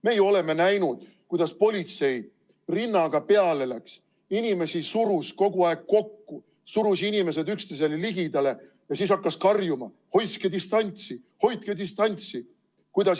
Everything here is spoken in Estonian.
Meie oleme näinud, kuidas politsei rinnaga peale läks, inimesi surus kogu aeg kokku, surus inimesed üksteisele ligidale ja siis hakkas karjuma: hoidke distantsi, hoidke distantsi!